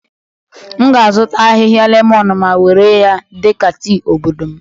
M ga-azụta ahịhịa lemon ma were ya dị ka tii obodo m